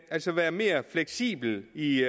altså at være mere fleksibel i